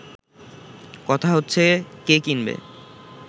কথা হচ্ছে কে কিনবে